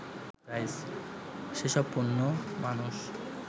সেসব পণ্য মানুষ